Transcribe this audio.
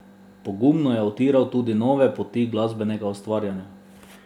Pogumno je utiral tudi nove poti glasbenega ustvarjanja.